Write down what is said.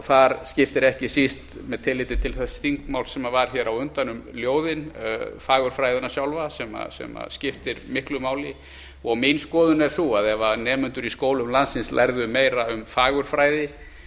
þar skiptir ekki síst með tilliti til þess þingmáls sem var hér á undan um ljóðin fagurfræði sjálfa sem skiptir miklu máli mín skoðun er sú að ef nemendur í skólum landsins lærðu meira um fagurfræði